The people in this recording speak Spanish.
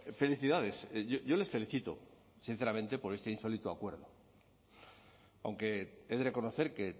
felicidades yo les felicito sinceramente por este insólito acuerdo aunque he de reconocer que